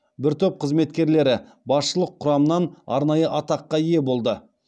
бір топ қызметкерлері басшылық құрамын арнайы атаққа ие болды